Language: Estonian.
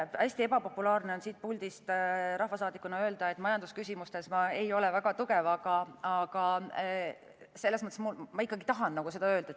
Hästi ebapopulaarne on siit puldist rahvasaadikuna öelda, et majandusküsimustes ma ei ole väga tugev, aga selles mõttes ma ikkagi tahan seda öelda.